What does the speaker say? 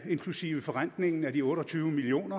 inklusive forrentningen af de otte og tyve million